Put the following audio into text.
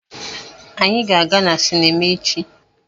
Anyị ga-aga sinima echi.